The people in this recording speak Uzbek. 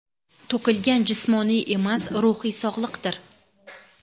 to‘kilgan jismoniy emas ruhiy sog‘liqdir.